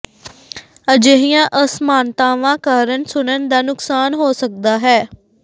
ਅਜਿਹੀਆਂ ਅਸਮਾਨਤਾਵਾਂ ਕਾਰਨ ਸੁਣਨ ਦਾ ਨੁਕਸਾਨ ਹੋ ਸਕਦਾ ਹੈ